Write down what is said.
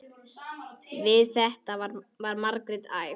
Við þetta varð Margrét æf.